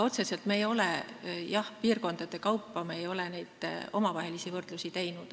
Otseselt, jah, piirkondade kaupa ei ole me võrdlusi teinud.